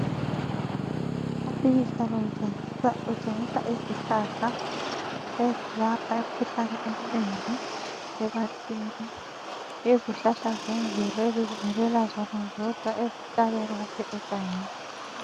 Umpikitsha lo utshengisa izihlahla ezilapha imkhuhlane eminengi ebantwini, izihlahla zemvelo ezizimilela zona zodwa ezintabeni kumbe egangeni.